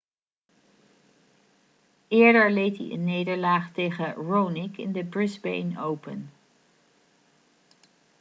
eerder leed hij een nederlaag tegen raonic in de brisbane open